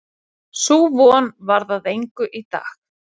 Sú von varð að engu í dag.